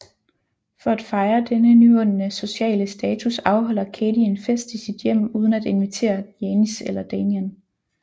For at fejre denne nyvundne sociale status afholder Cady en fest i sit hjem uden at invitere Janis eller Damien